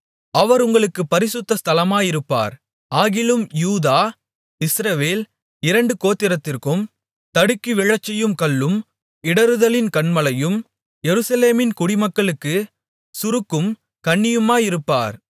அவர் உங்களுக்குப் பரிசுத்த ஸ்தலமாயிருப்பார் ஆகிலும் யூதா இஸ்ரவேல் இரண்டு கோத்திரத்திற்கும் தடுக்கி விழச்செய்யும் கல்லும் இடறுதலின் கன்மலையும் எருசலேமின் குடிமக்களுக்குச் சுருக்கும் கண்ணியுமாயிருப்பார்